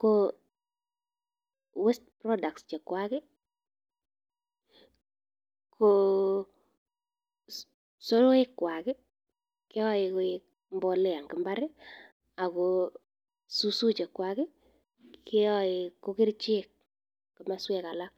ko waste products ko soroekkwak keyoe koik mbolea en mbar, ago susu chechwaget keyoe ko kerichek en komoswek alak.